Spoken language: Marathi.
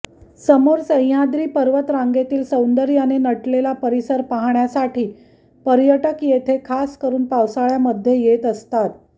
समोर सह्याद्री पर्वत रांगेतील सौंदर्याने नटलेला परिसर पाहण्यासाठी पर्यटक येथे खास करून पावसाळ्यामध्ये येत असतात